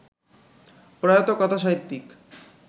প্রয়াত কথা সাহিত্যিক